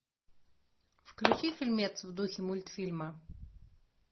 включи фильмец в духе мультфильма